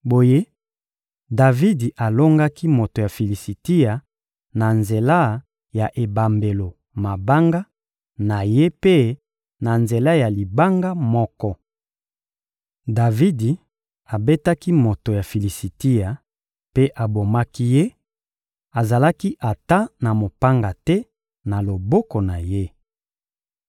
Boye, Davidi alongaki moto ya Filisitia na nzela ya ebambelo mabanga na ye mpe na nzela ya libanga moko. Davidi abetaki moto ya Filisitia mpe abomaki ye, azalaki ata na mopanga te na loboko na ye.